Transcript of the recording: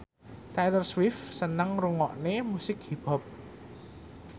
Taylor Swift seneng ngrungokne musik hip hop